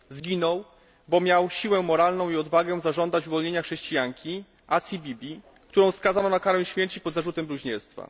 Zginął, bo miał siłę moralną i odwagę zażądać uwolnienia chrześcijanki Asii Bibi, którą skazano na karę śmierci pod zarzutem bluźnierstwa.